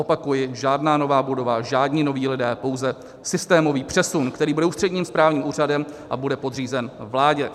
Opakuji, žádná nová budova, žádní noví lidé, pouze systémový přesun, který bude ústředním správním úřadem a bude podřízen vládě.